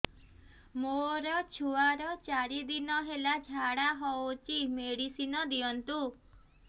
ମୋର ଛୁଆର ଚାରି ଦିନ ହେଲା ଝାଡା ହଉଚି ମେଡିସିନ ଦିଅନ୍ତୁ